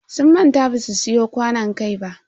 Sun manta basu siyo kwanon kai ba.